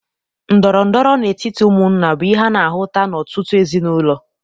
Ndọrọndọrọ n'etiti ụmụnna bụ ihe ana-ahụta n'ọtụtụ ezinaụlọ.